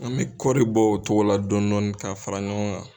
An mɛ kɔɔri bɔ o cogo la dɔni dɔni k'a fara ɲɔgɔn kan.